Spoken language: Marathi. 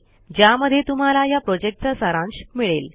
ज्यामध्ये तुम्हाला ह्या प्रॉजेक्टचा सारांश मिळेल